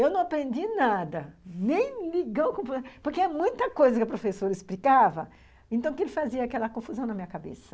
Eu não aprendi nada, nem ligar o computador, porque é muita coisa que a professora explicava, então que ele fazia aquela confusão na minha cabeça.